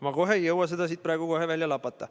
Ma kohe praegu ei jõua neid siit välja lapata.